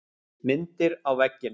Myndir á veggina.